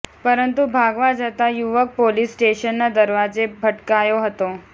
પરંતુ ભાગવા જતાં યુવક પોલીસ સ્ટેશનના દરવાજે ભટકાયો હતો